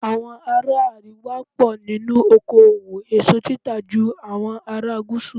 Àwọn ará àríwá pọ̀ nínú oko òwò èso títà ju àwọn ará gúúsù.